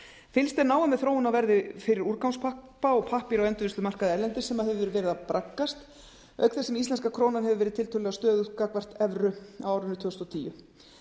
fylgst er náið með þróun á verði fyrir úrgangspappa og pappír á endurvinnslumarkaði erlendis sem hefur verið að braggast auk þess sem íslenska krónan hefur verið tiltölulega stöðug gagnvart evru á árinu tvö þúsund og tíu